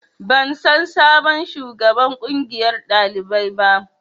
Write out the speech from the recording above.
Ban san sabon shugaban ƙungiyar ɗalibai ba